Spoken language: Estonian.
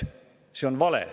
See on vale.